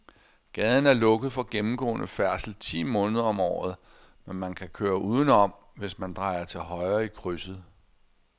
Gaden er lukket for gennemgående færdsel ti måneder om året, men man kan køre udenom, hvis man drejer til højre i krydset.